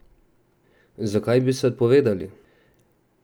Zakaj bi se odpovedali?